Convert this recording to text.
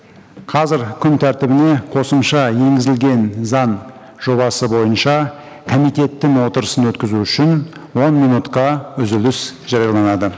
қазір күн тәртібіне қосымша енгізілген заң жобасы бойынша комитеттің отырысын өткізу үшін он минутқа үзіліс жарияланады